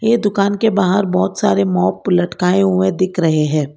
ये दुकान के बाहर बहुत सारे लटकाए हुए दिख रहे हैं।